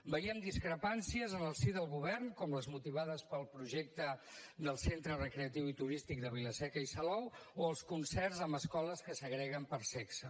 veiem discrepàncies en el si del govern com les motivades pel projecte del centre recreatiu i turístic de vilaseca i salou o els concerts amb escoles que segreguen per sexe